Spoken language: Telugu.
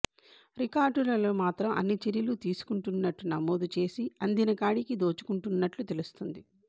రికార్డులలో మాత్రం అన్ని చర్యలు తీసు కుం టున్నట్టు నమోదు చేసి అందినకాడికి దోచుకుంటున్నట్లు తెలుస్తొంది